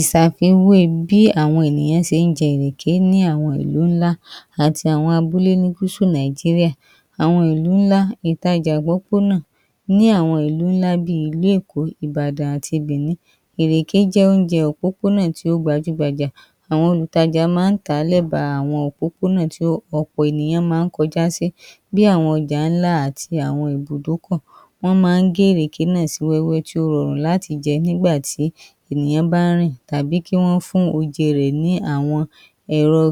Ìṣàfiwé bí àwọn èyàn ṣe ń jẹ ìrèké ní àwọn ìlú ńlá àti àwọn abúlé ní gúsù Nàìjíríà. Àwọn ìlú ǹlá, ìtajà ìpópó náà, ní àwọn ìlú ńlá bíi ìlú Èkó, Ìbàdàn àti Bènín, ìrèké jẹ́ oúnjẹ òpópó náà tí ó gbajú gbajà. Àwọn olùtajà ma ń tàá ní ẹ̀ba òpópó nà tí ọ̀pọ̀ ènìyàn ma ń kọjá sí. Bí àwọn ọ̀jà ńláńlá àti àwọn. Wọ́n ma ń gé ìrèké náà sí wẹ́wẹ́ tí ó rọrùn láti jẹ́ nígbà tí ènìyàn ba ń rìn, tàbí kí wọ́n fún oje rẹ̀ ní àwọn ẹ̀rọ